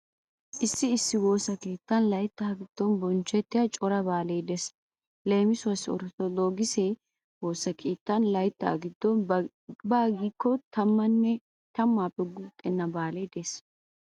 Issi issi woosa keettan laytaa giddon bonchchettiya cora baalee de'ees. Leemisuwawu orttodokise woosa keettan layttaa giddon baa giikko tammaappe guuxxenna baalee de'ees.